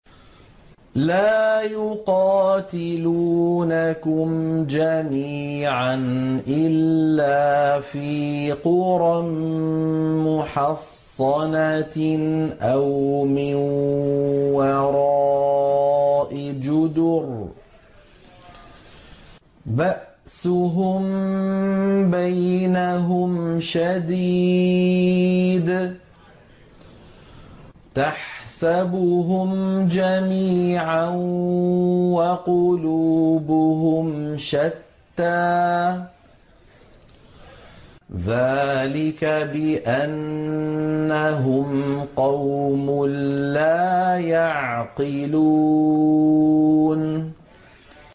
لَا يُقَاتِلُونَكُمْ جَمِيعًا إِلَّا فِي قُرًى مُّحَصَّنَةٍ أَوْ مِن وَرَاءِ جُدُرٍ ۚ بَأْسُهُم بَيْنَهُمْ شَدِيدٌ ۚ تَحْسَبُهُمْ جَمِيعًا وَقُلُوبُهُمْ شَتَّىٰ ۚ ذَٰلِكَ بِأَنَّهُمْ قَوْمٌ لَّا يَعْقِلُونَ